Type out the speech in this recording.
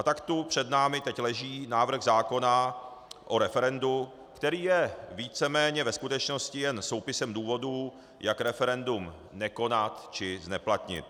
A tak tu před námi teď leží návrh zákona o referendu, který je víceméně ve skutečnosti jen soupisem důvodů, jak referendum nekonat či zneplatnit.